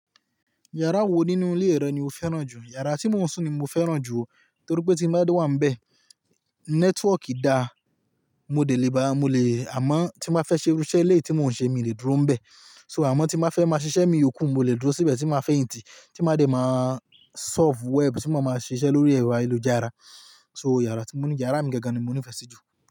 Yàrá wo nínú ilé rẹ ni o fẹ́ràn jù? Yàrá tí mo ń sùn ni mo fẹ́ràn jù, torí pé tí mo bá wà níbẹ̀, nẹ́tíwọ̀ọ̀kì dá, mo dẹ lèbá, mo lè-- àmọ́ tí mo fẹ́ ṣe irú iṣẹ́ eleyi tí mò ń ṣe mi lè dúró níbẹ̀. So àmọ́ tí mo fẹ́ máa ṣiṣẹ́ mii yoòkú, mo lè dúró síbẹ̀ tí ma fẹ́yintí, tí ma dẹ máa surf web, tí mo má máa ṣiṣẹ́ lórí ẹ̀rọ ayélujára. So yàrá tí moní, yàrá mi gangan ni mo nífẹ̀ẹ́ sí jù.